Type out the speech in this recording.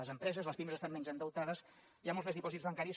les empreses les pimes estan menys endeutades hi ha molts més dipòsits bancaris